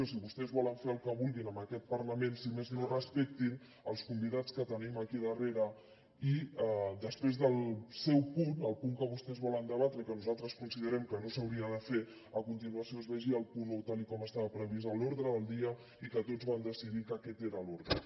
si vostès volen fer el que vulguin amb aquest parlament si més no respectin els convidats que tenim aquí darrere i després del seu punt el punt que vostès volen debatre i que nosaltres considerem que no s’hauria de fer a continuació es vegi el punt un tal com estava previst a l’ordre del dia i que tots van decidir que aquest era l’ordre